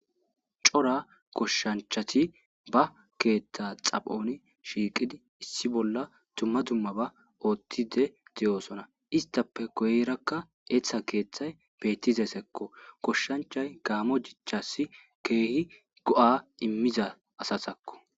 cora koshshanchati ba keeththa xaphoni shiiqidi issi bolla tumma dumma ba oothtide deyoosona istape goyrakka eeththa keeththay beettizesekko koshshanchay gaamo dichasi keehi go7a immiza asasakko